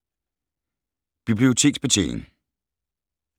Biblioteksbetjening